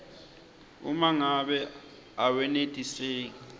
uma ngabe awenetiseki